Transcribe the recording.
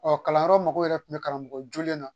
Ɔ kalanyɔrɔ mɔgɔw yɛrɛ tun bɛ karamɔgɔ jolen na